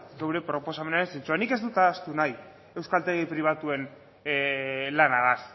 gure proposamenaren zentzua nik ez dut ahaztu nahi euskaltegi pribatuen lanaz